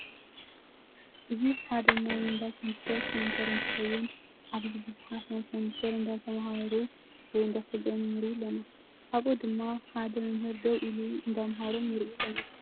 እዚ ሓደ ናይ እንዳ ኮምፒተር ሰንተር እንትከውን ኣብዚ ቡዙሓት ናይ ኮምፒተር እንዳተመሃሩ ወይ እንዳሰልጠኑ ንርኢ ኣለና። ኣብኡ ድማ ሓደ መምህር ደው ኢሉ እንዳምሃሮም ንርኢ ኣለና።